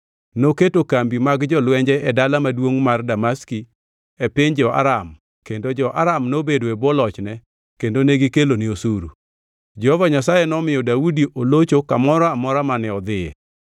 Noketo kambi mag jolwenje e dala maduongʼ mar Damaski e piny jo-Aram kendo jo-Aram nobedo e bwo lochne kendo negikelone osuru. Jehova Nyasaye nomiyo Daudi olocho kamoro amora mane odhiye.